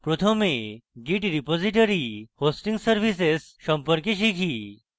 প্রথমে git repository hosting services সম্পর্কে শিখি